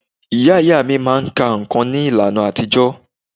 Ìyá ìyá mí máà ka nǹkan ní ìlànà àtijọ́.